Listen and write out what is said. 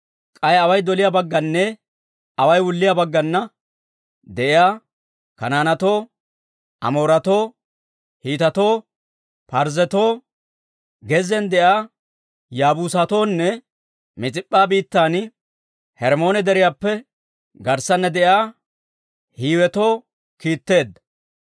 K'ay away doliyaa baggananne away wulliyaa baggana de'iyaa Kanaanetoo, Amooretoo, Hiitetoo, Parzzetoo, gezziyaan de'iyaa Yaabuusatoonne Mis'ip'p'a biittan Hermmoone Deriyaappe garssana de'iyaa Hiiwetoo kiitteedda.